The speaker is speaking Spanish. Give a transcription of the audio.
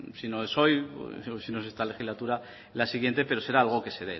si no es en esta legislatura en la siguiente pero será algo que se